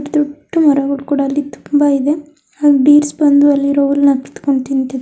ದೊಡ್ಡ ಮರವುಗಳು ಅಲ್ಲಿ ತುಂಬಾ ಇದೆ ಅಲ್ಲಿ ಡೀರ್ಸ್ ಬಂದು ಅಲ್ಲಿರುವ ಹುಲ್ಲುನ್ನ ಕಿತ್ಕೊಂಡು ತಿಂತಿದೆ.